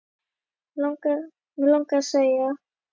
Mig langaði að segja